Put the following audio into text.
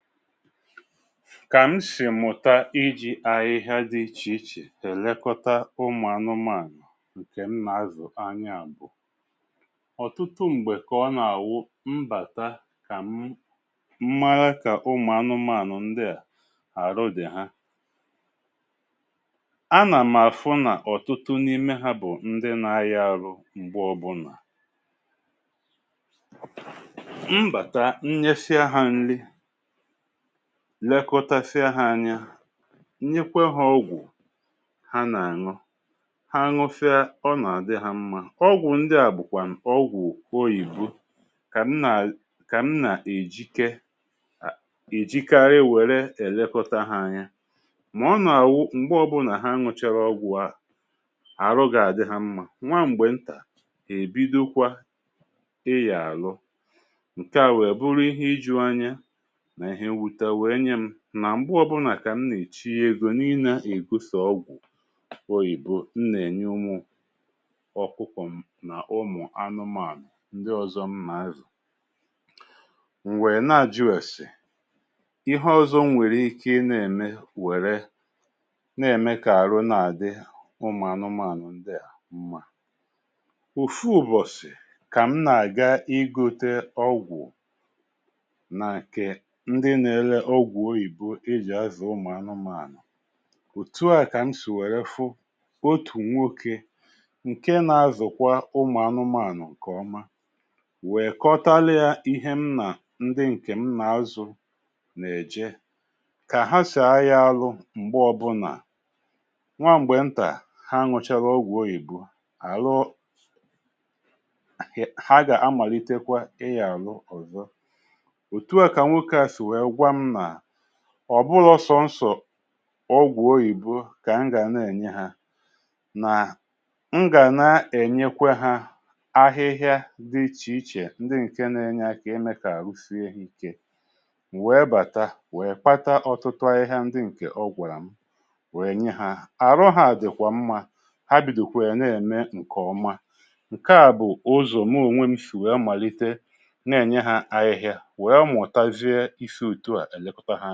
Kà m sì mụ̀ta iji̇ ahịhịa dị ichè ichè èlekọta ụmụ̀ anụmaànụ̀ ǹkè m nà-azụ̀ anya bụ̀: ọ̀tụtụ m̀gbè kà ọ nà-àwụ mbàta kà m màra kà ụmụ̀ anụmaànụ̀ ndị à arụ dị ha, a nà m̀ àfu nà ọ̀tụtụ n’ime ha bụ̀ ndị na-aya arụ m̀gbe ọ̇bụ̇nà. M bàta, m nyesia ha nli, lekọtasia ha anya, m nyekwe ha ọgwụ ha nà-àṅụ; ha ṅụsịa, ọ nà-àdị ha mma. Ọgwụ ndị à bụ̀kwànu ọgwụ oyìbo kà m nà àlị kà m nà-èjike um èjikarị were èlekȯta ha anya. Mà ọ nà-àwụ m̀gbe ọbụnà ha ṅụchara ọgwụ ahu, àrụ gà-àdị ha mma; nwa m̀gbè ntà, ha èbidokwa ịyà àrụ. Nke a wère bụ̀ru ihe iju anya ǹa ihe mwuta nwe nye m nà ṁgbe ọbụlà ka m nà èchiyie egȯ na ị nȧ-ègo so ọgwụ̀ oyìbo n nà-ènye ụmụ̇ ọkụkọ̇ m nà ụmụ̀ anụmȧnụ̀ ndị ọ̀zọ m nà-azụ̀. M̀ wèe na-àjụ èse ihe ọzọ m nwèrè ike ị na-ème wère na-ème kà àrụ na-àdị ụmụ̀ anụmȧnụ̀ ndị à mmȧ. Ofụ ụbọ̀sị̀, kà m nà-àga i gote ọgwụ̀ na nke ndi na-ere ọgwụ̀ oyìbo e ji azụ̀ ụmụ̀ anụmȧnụ̀, òtù a kà m si wèrè fụ otù nwokė ǹke nà-azụ̀kwa ụmụ̀ anụmȧànụ̀ ǹkè ọma, wèe kọtalịȧ ihe m nà ndị ǹkè m nà-azụ̀ nà-èje, kà ha sì aya alụ m̀gbe ọbụnà; nwa m̀gbè ntà ha nụchara ọgwụ̀ oyìbo, àlụ um ha ga-amalitekwa ịyà àlụ ọzọ. Otù à ka nwokė a si wèè gwa m na ọ̀ bụlọ̇ sọnsọ̀ ọgwụ̀ oyìbo kà m gàna ènye ha, nà m gàna ènyekwa hȧ ahịhịa dị ichè ichè ndị ǹke na-enye aka imė kà àrụ si ha ike. M wèe bàta, wèe kpata ọ̀tụtụ ahịhịa ndị ǹkè ọgwụarà m, wèe nye ha. Àru ha dịkwa mma, ha bìdokwè nà-ème ǹkè ọma. Ǹke à bụ̀ ụzọ̀ mu ònwe m sì wèe màlite na-ènye hȧ ahịhịa anyà wèe mụ̀tazie isi otù à èlekȯta ha.